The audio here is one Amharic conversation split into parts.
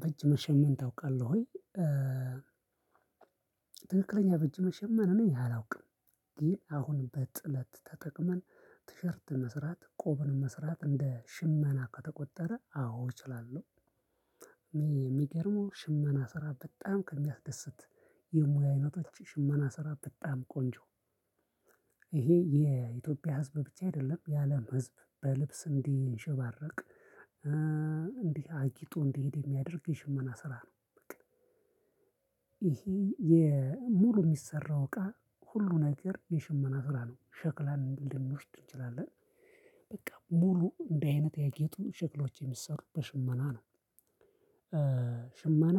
በእጅ መሸመን ታውቃለህ ወይ? ትክክለኛ በእጅ መሸመን እኔ አላውቅም። ግን አሁን በጥለት ተጠቅመን ቲሸርት መስራት ቆመን መስራት እንደ ሽመና ከተቆጠረ አዎ እችላለሁ። የሚገርመው ሽመና ስራ በጣም ከሚያስደስት የሙያ አይነቶች ሽመና ስራ በጣም ቆንጆ። ይሄ የኢትዮጵያ ህዝብ ብቻ አይደለም የአለም ህዝብ በልብስ እንዲሸባረቅ እንዲህ አጊጦ እንዲሄድ የሚያደርግ የሽመና ስራ ነው። በቃ። ይሄ የሙሉ የሚሰራው እቃ ሁሉ ነገር የሽመና ስራ ነው ሸክላን እንደሚወስድ እንችላለን። በቃ ሙሉ እንደህ አይነት የጌጥ ሸክሎች የሚሰሩበት ሽመና ነው። ሽመና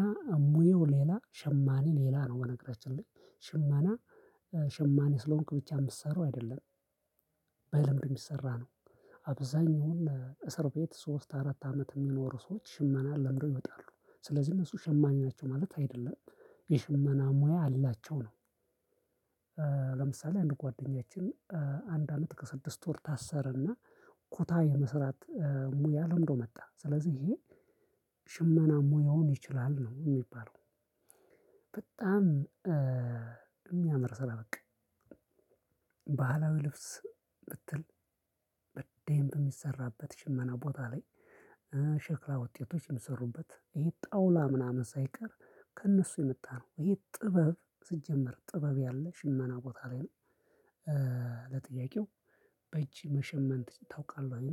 ሙያው ሌላ ሸማኔ ሌላ ነው። በነገራችን ላይ ሽመና ሸማኔ ስለሆንክ ብቻ የምትሰራው አይደለም። በልምድ እሚሰራ ነው። አብዛኛውን እስር ቤት ሶስት አራት አመት የሚኖሩ ሰዎች ሽመና ለምደው ይወጣሉ ስለዚህ እነሱ ሸማኔ ናቸው ማለት አይደለም የሽማና ሙያ አላቸው ነው። ለምሳሌ አንድ ጓደኛችን አንድ አመት ከስድስት ወር ታሰረና ኩታ የመስራት ሙያ ለምዶ መጣ ስለዚህ ይሄ ሽመና ሙያውን ይችላል ነው የሚባለው። በጣም የሚያምር ስራ በቃ። ባህላዊ ልብስ ብትል በደንብ የሚሰራበት ሽመና ቦታ ላይ ሸክላ ውጤቶች ሚሰሩበት ይሄ ጠውላ ምናምን ሳይቀር ከእነሱ የመጣ ነው። ይሄ ጥበብ ሲጀመር ጥበብ ያለ ሽመና ቦታ ላይ ነው። ለጥያቄው በእጅ መሸመን ታውቃለህ?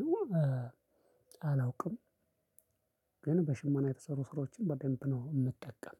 አላውቅም። ግን በሽመና የተሰሩ ስራዎችን በደንብ ነው የምጠቀም።